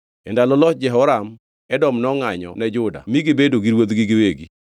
E ndalo loch Jehoram, Edom nongʼanyo ne Juda mi gibedo gi ruodhgi giwegi.